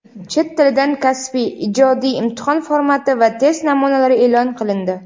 Chet tilidan kasbiy (ijodiy) imtihon formati va test namunalari eʼlon qilindi.